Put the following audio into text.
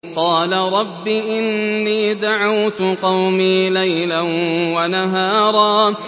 قَالَ رَبِّ إِنِّي دَعَوْتُ قَوْمِي لَيْلًا وَنَهَارًا